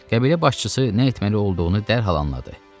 Qəbilə başçısı nə etməli olduğunu dərhal anladı.